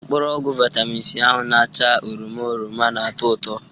Mkpụrụ ọgwụ vitamim C ahụ na-acha oroma oroma na-ato ụtọ